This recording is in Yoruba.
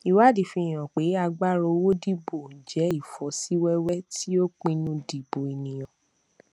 ìwádìí fi hàn pé agbára owó dìbò jẹ ìfọsíwẹwẹ tí ó pinnu dìbò ènìyàn